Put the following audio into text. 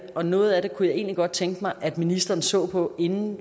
og noget af det kunne jeg egentlig godt tænke mig at ministeren så på inden